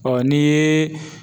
ni ye